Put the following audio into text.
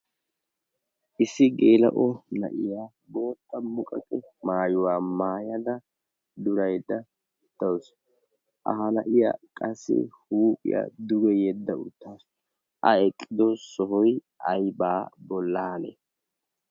issi geela o na7iyaa booxxa muqaqe maayuwaa maayada duraidda uttausu a hala7iya qassi huuphiya duge yedda uttaasu a eqqido sohoi aibaa bollaane